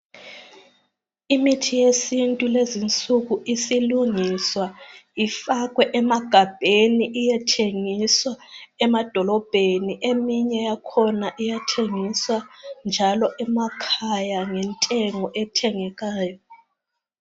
Imithi yesintu lezinsuku isilungiswa ifakwe emagabheni iyethengiswa emadolobheni eminye yakhona iyathengiswa njalo emakhaya ngentengo ethengekayo